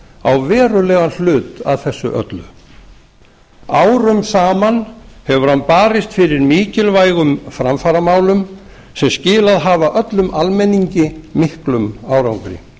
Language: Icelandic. á verulegan hlut að þessu öllu árum saman hefur hann barist fyrir mikilvægum framfaramálum sem skilað hafa öllum almenningi miklum árangri